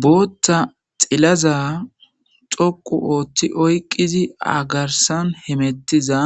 bootta xilaza xoqu ooththi oyqizi agarsan hemettiza